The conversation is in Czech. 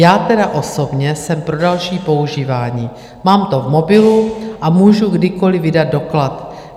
Já tedy osobně jsem pro další používání, mám to v mobilu a můžu kdykoliv vydat doklad.